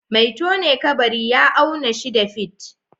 Mai tone kabari ya auna shida fit